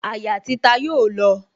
Àyà títa yóò lọ